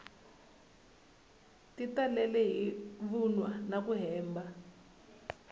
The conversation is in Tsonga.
ti talele hi mavunwa naku hemba